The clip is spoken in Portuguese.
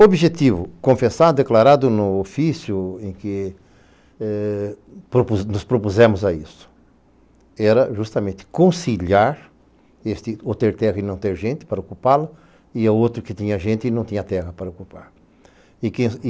O objetivo, confessado, declarado no ofício em que nos propusemos a isso, era justamente conciliar o ter terra e não ter gente para ocupá-lo e o outro que tinha gente e não tinha terra para ocupá-lo.